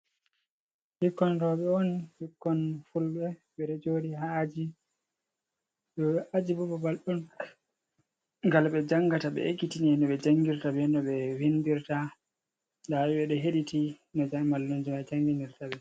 Ɓikkon roɓe on, ɓikkon fulɓe ɓeɗo joɗi ha aji ajibo babal on ngal ɓe jangata ɓe ekkitini no ɓe jangirta be no ɓe vindirta nda ɓe ɓeɗo heɗiti no mallumjo mai janginirta ɓe